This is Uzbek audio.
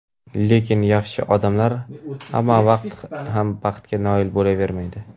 lekin yaxshi odamlar hamma vaqt ham baxtga noil bo‘lavermaydi.